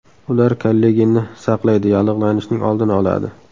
Ular kollagenni saqlaydi, yallig‘lanishning oldini oladi.